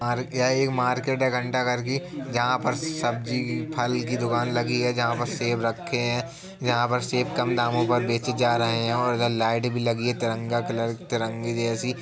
यह ये मार्केट है घंटाघर की जहाँ पर सब्जी फल की दुकान लगी है जहाँ पर सेब रखे है जहाँ पर सेब कम दामो में बेचे जा रहे हैं और इधर लाइट भी लगी है तिरंगा कलर तिरंगे जैसी --